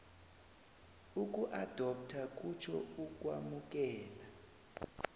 ukuadoptha kutjho ukwamukela